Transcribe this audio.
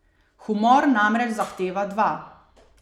Humor namreč zahteva dva.